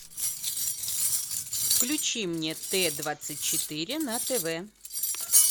включи мне т двадцать четыре на тв